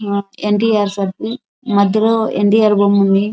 ఎన్ T R circle మధ్యలో ఎన్ టి ఆర్ బొమ్మ ఉంది.